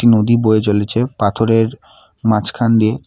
নদী বয়ে চলেছে পাথরের মাঝখান দিয়ে।